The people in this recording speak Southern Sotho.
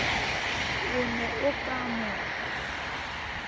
o ne o ka mo